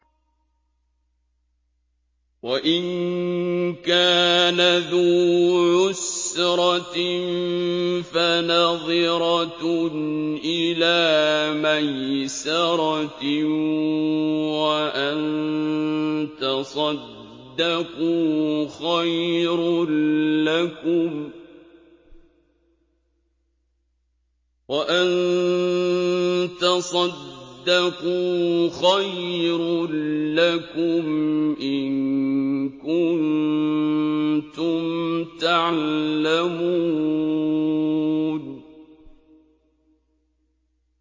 وَإِن كَانَ ذُو عُسْرَةٍ فَنَظِرَةٌ إِلَىٰ مَيْسَرَةٍ ۚ وَأَن تَصَدَّقُوا خَيْرٌ لَّكُمْ ۖ إِن كُنتُمْ تَعْلَمُونَ